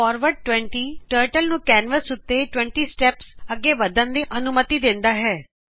forward 20 turtle ਨੂੰ canvas ਉੱਤੇ 20 steps ਅੱਗੇ ਵਦਨ ਦੀ ਅਨੂੰਮਤਿ ਦੇਂਦਾ ਹੈਂ